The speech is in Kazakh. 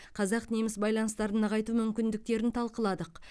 қазақ неміс байланыстарын нығайту мүмкіндіктерін талқыладық